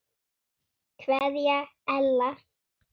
Kveðja Ella.